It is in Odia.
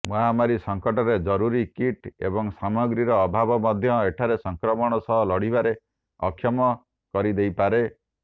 ମହାମାରୀ ସଙ୍କଟରେ ଜରୁରୀ କିଟ୍ ଏବଂ ସାମଗ୍ରୀର ଅଭାବ ମଧ୍ୟ ଏଠାରେ ସଂକ୍ରମଣ ସହ ଲଢ଼ିବାରେ ଅକ୍ଷମ କରିଦେଇପାରେ